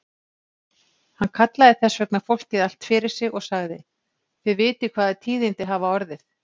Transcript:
Hann kallaði þess vegna fólkið allt fyrir sig og sagði:-Þið vitið hvaða tíðindi hafa orðið.